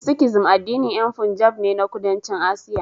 Sikhism addinin yan Punjab ne na Kudancin Asiya